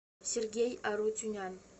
сергей арутюнян